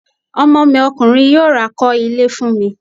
Ọmọ mi Ọkùnrin yóò ra kọ́ ilé fún mi